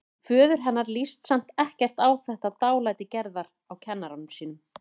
Föður hennar líst samt ekkert á þetta dálæti Gerðar á kennara sínum.